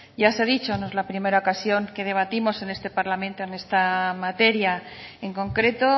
ya se ha dicho que no es la primera ocasión que debatimos en este parlamento en esta materia en concreto